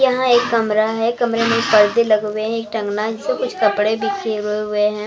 यहाँ एक कमरा है कमरे में पर्दे लगे हुए हैं एक टंगना जिसपे कुछ कपड़े बिखरे हुए हैं।